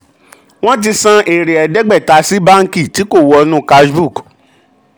wọ́n ti san èrè ẹ̀ẹ́dẹ́gbẹ̀ta sí báǹkì tí kò wọ inú cash book